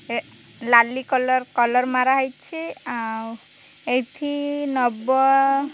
ଏ ଲାଲି colour colour ମାରା ହେଇଛି ଆଉ ଏଇଠି ନବ।